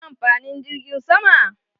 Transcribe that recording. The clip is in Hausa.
Mai ne amfanin jirgin sama?